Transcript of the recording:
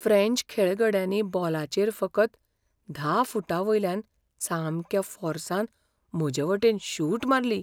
French खेळगड्यांनी बॉलाचेर फकत धा फूटांवयल्यान सामक्या फोर्सान म्हजेवटेन शूट मारली.